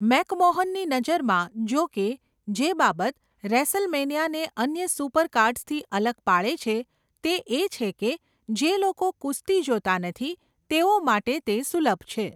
મેકમોહનની નજરમાં, જોકે, જે બાબત રેસલમેનિયાને અન્ય સુપરકાર્ડ્સથી અલગ પાડે છે તે એ છે કે જે લોકો કુસ્તી જોતા નથી તેઓ માટે તે સુલભ છે.